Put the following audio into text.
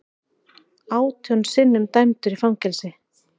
Átján sinnum dæmdur í fangelsi